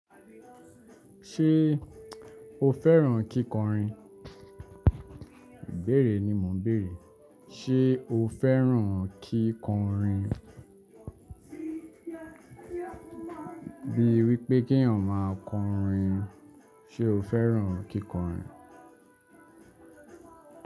Ṣé o fẹ́ràn kíkọrin? Bẹ̀rẹ̀ ni mò ń béèrè. Ṣé o fẹ́ràn kíkọrin? Bíi wípé kí ẹ̀yàn máa kọrin, ṣe o fẹ́ràn kíkọrin?